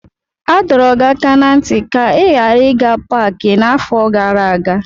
A dọrọ gị aka ná ntị ka ị ghara ịga paaki n'afọ gara aga.